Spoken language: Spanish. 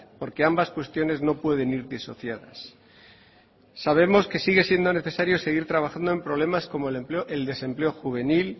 porque ambas cuestiones no pueden ir disociadas sabemos que sigue siendo necesario seguir trabajando en problemas como el empleo el desempleo juvenil